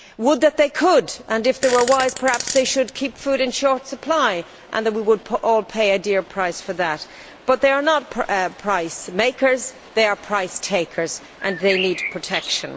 Would that they could, and if they were wise, perhaps they should keep food in short supply and we would all pay a dear price for that. But they are not price makers, they are price takers, and they need protection.